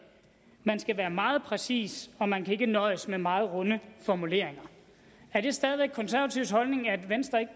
man skal være meget præcis og man kan ikke nøjes med meget runde formuleringer er det stadig væk de konservatives holdning at venstre ikke